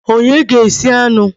Onye ga-esi anụ?